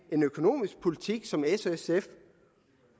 en økonomisk politik som s og sf’s